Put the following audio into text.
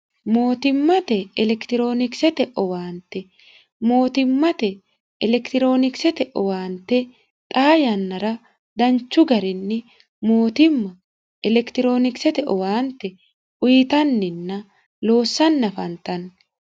mootimmate elekironikisete owaante mootimmate elekitiroonikisete owaante xaa yannara danchu garinni mootimma elekitiroonikisete owaante uyitanninna loossan afantanno